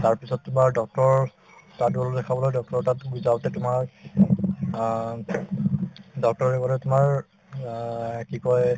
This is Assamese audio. তাৰপিছত তোমাৰ doctor ৰৰ তাত গলো দেখাবলৈ doctor ৰৰ তাত যাওঁতে তোমাৰ অ doctor ৰে কলে তোমাৰ অ কি কই